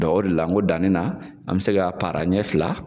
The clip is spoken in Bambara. Dɔnku o de la n ko dani na , an bɛ se ka para ɲɛ fila.